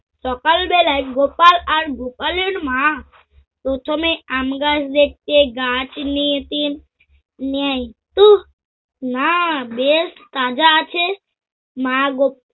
সকাল বেলায় গোপাল আর গোপালের মা প্রথমে আমগাছ দেখতে গাছ নিয়ে তিন নেয়। উহ না বেশ তাজা আছে তাজা আছে। মা গোপ~